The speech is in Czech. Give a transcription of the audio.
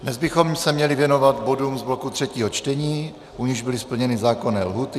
Dnes bychom se měli věnovat bodům z bloku třetího čtení, u nichž byly splněny zákonné lhůty.